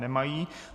Nemají.